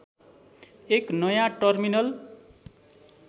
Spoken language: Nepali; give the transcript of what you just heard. एक नयाँ टर्मिनल